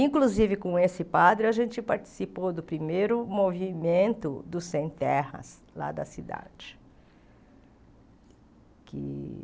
Inclusive, com esse padre, a gente participou do primeiro movimento dos sem-terras lá da cidade.